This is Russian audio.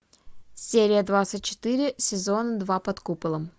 серия двадцать четыре сезон два под куполом